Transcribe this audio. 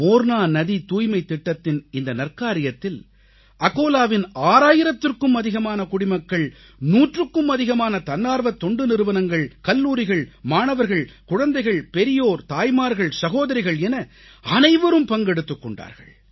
மோர்னா நதி தூய்மைத் திட்டத்தின் இந்த நற்காரியத்தில் அகோலாவின் 6000த்திற்கும் அதிகமான குடிமக்கள் நூற்றுக்கும் அதிகமான தன்னார்வத் தொண்டு நிறுவனங்கள் கல்லூரிகள் மாணவர்கள் குழந்தைகள் பெரியோர் தாய்மார்கள்சகோதரிகள் என அனைவரும் பங்கெடுத்துக் கொண்டார்கள்